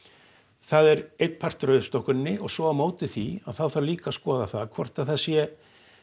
það er einn partur af uppstokkuninni og svo á móti því þarf líka að skoða hvort að það sé